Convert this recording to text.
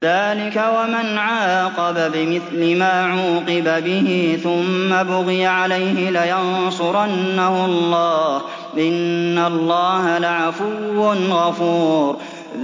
۞ ذَٰلِكَ وَمَنْ عَاقَبَ بِمِثْلِ مَا عُوقِبَ بِهِ ثُمَّ بُغِيَ عَلَيْهِ لَيَنصُرَنَّهُ اللَّهُ ۗ إِنَّ اللَّهَ لَعَفُوٌّ غَفُورٌ